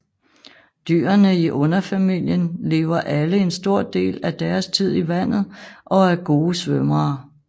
Dyrene i underfamilien lever alle en stor del af deres tid i vandet og er gode svømmere